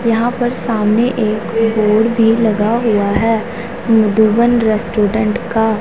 यहाँ पर सामने एक बोर्ड भी लगा हुआ है मधुबन रेस्टोरेंट का --